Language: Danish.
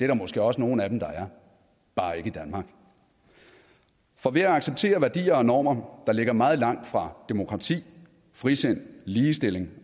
der måske også nogle af dem der er bare ikke i danmark for ved at acceptere værdier og normer der ligger meget langt fra demokrati frisind ligestilling